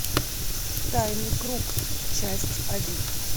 тайный круг часть один